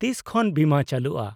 -ᱛᱤᱥ ᱠᱷᱚᱱ ᱵᱤᱢᱟᱹ ᱪᱟᱹᱞᱩᱜᱼᱟ ?